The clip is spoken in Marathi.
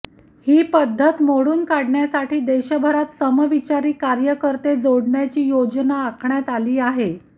ही पद्धत मोडून काढण्यासाठी देशभरात समविचारी कार्यकर्ते जोडण्याची योजना आखण्यात आली आहे